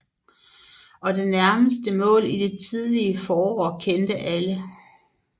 Og det nærmeste mål i det tidlige forår kendte alle